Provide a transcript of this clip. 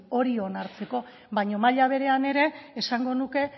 hori onartzeko baina maila berean ere esango nuke